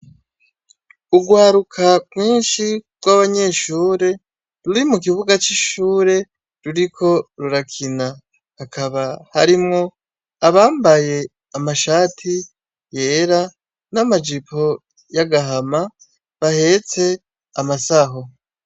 Urwaruka rwinshi rw'abanyeshure ruri mu kibuga c'ishure ruriko rurakina, hakaba harimwo abambaye amashati yera n'amajipo y'agahama bahetse amasaho.